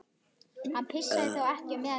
Hann leit upp undrandi og fár og svaraði ekki.